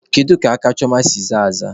Kedu ka aka Chioma si zaa aza?